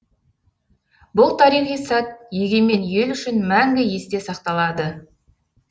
бұл тарихи сәт егемен ел үшін мәңгі есте сақталады